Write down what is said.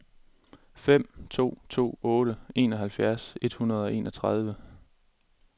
fem to to otte enoghalvfjerds et hundrede og enogtredive